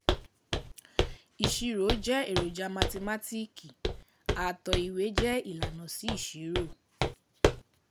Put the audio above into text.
Ìṣirò jẹ́ eroja mathimátíìkì, àtò ìwé jẹ́ ilànà sí ìṣirò.